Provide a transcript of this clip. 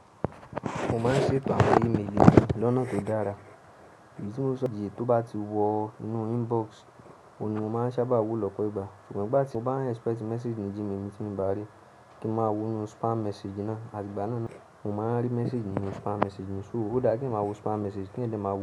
Mo máa ń ṣetò awọ́n email lónà tó dára. Èyí tí mo sọ jẹ tó bá ti wọ inú inbox, òun ni mo máa ń sábà wo lọ́pọ̀ ìgbà. Ṣùgbọ́n ígbà ti mo bá ń expect message ní Gmail tí mo bá rí kí n máa wo inú spam message náà, àdígbà náà ni mò ń máa rí message nínú spam message mi. So ó dára kí n máa wo spam message kí ń lè máa wo.